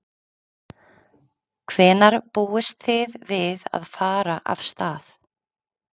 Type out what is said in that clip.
Hvenær búist þið við að fara af stað?